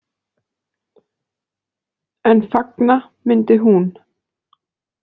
En fagna myndi hún.